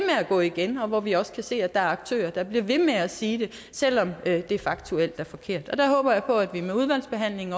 at gå igen og hvor vi også kan se at der er aktører der bliver ved med at sige det selv om det er faktuelt forkert der håber jeg på at vi med udvalgsbehandlingen